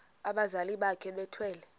abazali bakhe bethwele